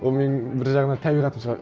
ол менің бір жағынан табиғатым шығар